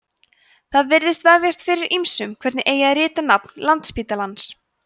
það virðist vefjast fyrir ýmsum hvernig eigi að rita nafn landspítalans